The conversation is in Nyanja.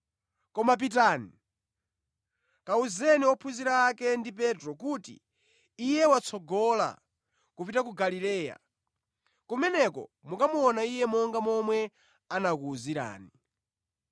Koma pitani, kawuzeni ophunzira ake ndi Petro kuti, ‘Iye watsogola kupita ku Galileya. Kumeneko mukamuona Iye monga momwe anakuwuzirani.’ ”